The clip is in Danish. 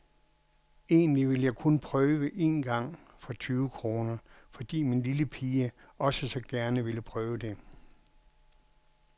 Egentlig ville jeg kun prøve en gang for tyve kroner fordi min lille pige også så gerne ville prøve det.